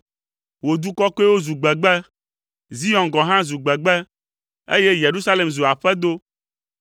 Wò du kɔkɔewo zu gbegbe, Zion gɔ̃ hã zu gbegbe, eye Yerusalem zu aƒedo.